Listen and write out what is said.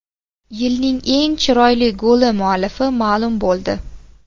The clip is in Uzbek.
Yilning eng chiroyli goli muallifi ma’lum bo‘ldi .